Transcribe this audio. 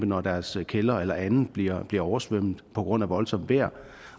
når deres kælder eller andet bliver bliver oversvømmet på grund af voldsomt vejr